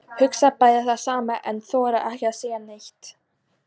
Hugsa bæði það sama en þora ekki að segja neitt.